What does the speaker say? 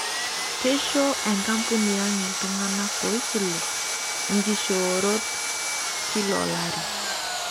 Keisho enkampuni ang iltung'ana oisilu nkishoorot kila olari.